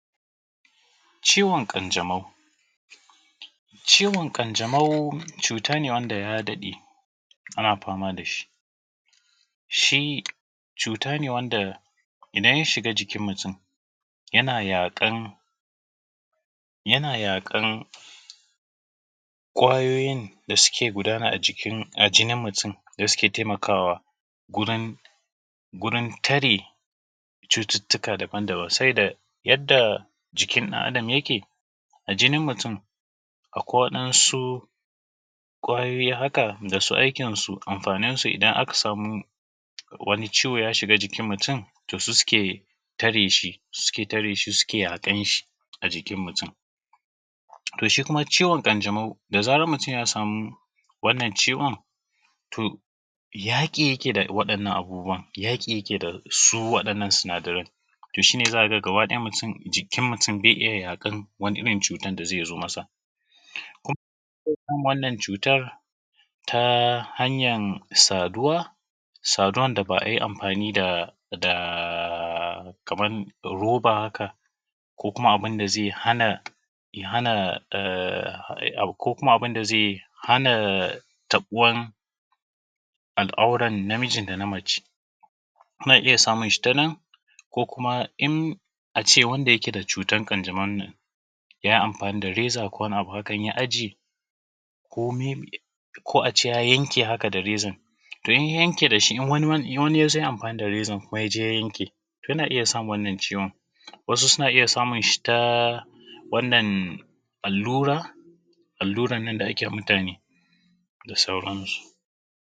Ciwon ƙanjamau, ciwon ƙanjamau cutane wanda ya daɗe ana fama da shi. Shi cuta ne wanda iɗan ya shiga jikin mutum yana yaƙan ƙwayoyin da suke guɗana a jinin mutum da suke taimakawa wurin tare cututtuka daban daban. Saboda yadda jikin ɗan adam yake, a jinin mutum akwai waɗansu ƙwayoyi haka da su amfanin su idan aka samu wani ciwo ya shiga jikin mutum to su suke tare shi su yaƙe shi a jikin mutum. To shi kuma ciwon ƙanjamau da zarar mutum ya samu wannan ciwon to yaƙi yake yi da waɗannan sinadaran to shine za ka ga gaba ɗaya jikin mutum baya iya yaƙan wani irin cutar da zai zo masa. Kuma ana ɗaukan wannan cutan ta hanyar saduwa, saduwan da ba ayi amfani da roba haka ko kuma abin da zai hana tabuwar al'auran namiji da na mace ana iya samun shi ta nan ko kuma in ace wanda yake da cutar ƙanjamau yayi amfani da reza ko kuma wani abu haka in ya ajiye ko a ce ya yanke da rezan to in ya yanke da shi wani ya yi amfani da rezan kuma ya je ya yanke to yana iya samun wannan ciwon. Wasu suna iya samun shi ta allura alluran nan da ake ma mutane da sauran su.